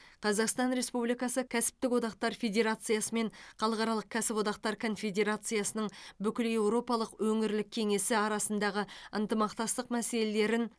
қазақстан республикасы кәсіптік одақтар федерациясы мен халықаралық кәсіподақтар конфедерациясының бүкілеуропалық өңірлік кеңесі арасындағы ынтымақтастық мәселелерін